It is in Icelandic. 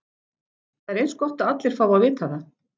Það er eins gott að allir fái að vita það.